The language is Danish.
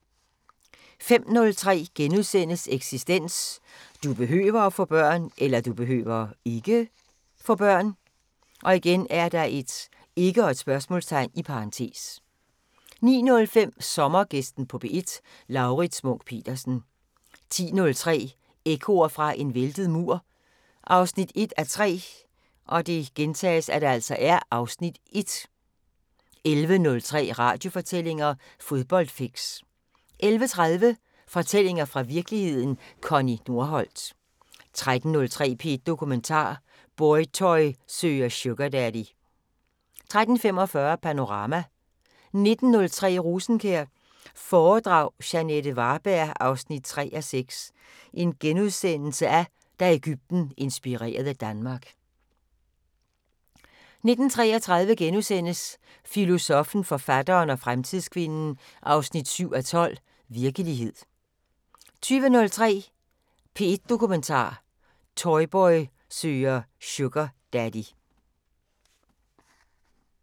05:03: Eksistens: Du behøver (ikke?) få børn * 09:05: Sommergæsten på P1: Laurits Munch-Petersen 10:03: Ekkoer fra en væltet mur 1:3 (Afs. 1) 11:03: Radiofortællinger: Fodboldfix 11:30: Fortællinger fra virkeligheden – Connie Nordholt 13:03: P1 Dokumentar: Boytoy søger Sugardaddy 13:45: Panorama 19:03: Rosenkjær foredrag – Jeanette Varberg 3:6: Da Egypten inspirerede Danmark * 19:33: Filosoffen, forfatteren og fremtidskvinden 7:12: Virkelighed * 20:03: P1 Dokumentar: Boytoy søger Sugardaddy